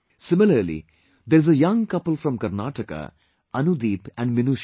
Similarly, there is a young couple from Karnataka, Anudeep and Minusha